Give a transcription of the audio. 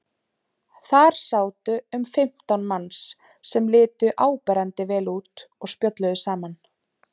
Þar sátu um fimmtán manns sem litu áberandi vel út og spjölluðu saman.